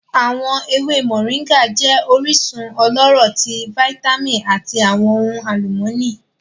Awọn leaves Moringa jẹ orisun ọlọrọ ti vitamin ati awọn ohun alumọni.